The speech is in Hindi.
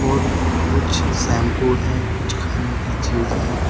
और कुछ शैंपू है कुछ खाने की चीज है।